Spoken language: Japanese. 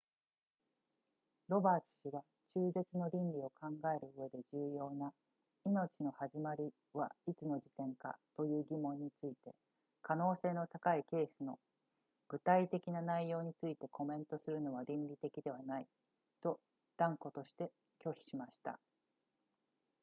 ロバーツ氏は中絶の倫理を考えるうえで重要な命の始まりはいつの時点かという疑問について可能性の高いケースの具体的な内容についてコメントするのは倫理的ではないと断固として拒否しました